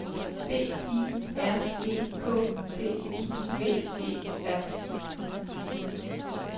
D I R E K T I V E R